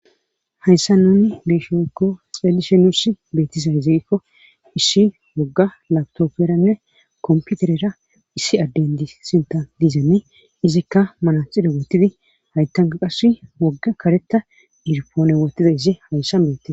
hayssa nuni geeshsha wekko xeelishe nus beetizay zigikko issi wogga labtopferanne komputerera issi adden di sinta diizani izikka manaxire wotidi hayttanka qas wogga karetta dirpoone wotide isi hayssa bete